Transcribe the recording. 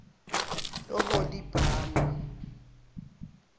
oholibhama